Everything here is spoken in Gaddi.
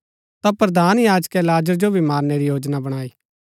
ता प्रधान याजकै लाजर जो भी मारणै री योजना बणाई